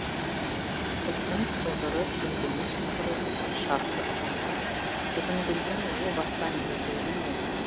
кілттің сылдыры теңгенің сыңғыры деген шартты ұғымға жүгінгүлдің о бастан еті үйренген